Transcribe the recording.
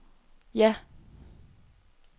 ja